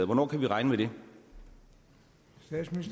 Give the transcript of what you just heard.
hvornår kan vi regne